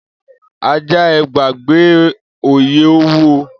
Aja e e gbagbe l' oiye owuo.